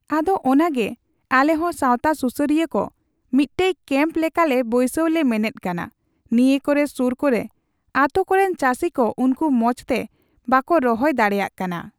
ᱟᱫᱚ ᱚᱱᱟᱜᱮ ᱟᱞᱮ ᱦᱚᱸ ᱥᱟᱣᱛᱟ ᱥᱩᱥᱟᱹᱨᱤᱭᱟᱹ ᱠᱚ ᱢᱤᱫᱴᱮᱡ ᱠᱮᱢᱯ ᱞᱮᱠᱟᱞᱮ ᱵᱟᱹᱭᱥᱟᱹᱣ ᱞᱮ ᱢᱮᱱᱮᱫ ᱠᱟᱱᱟ, ᱱᱤᱭᱟᱹ ᱠᱚᱨᱮ, ᱥᱩᱨ ᱠᱚᱨᱮ ᱟᱰᱛᱳ ᱠᱚᱨᱮᱱ ᱪᱟᱹᱥᱤ ᱠᱚ ᱩᱱᱠᱩ ᱢᱚᱸᱡ ᱛᱮ ᱵᱟᱠᱚ ᱨᱚᱦᱚᱭ ᱫᱟᱲᱮᱭᱟᱜ ᱠᱟᱱᱟ ᱾